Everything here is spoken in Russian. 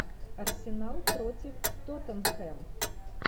арсенал против тоттенхэм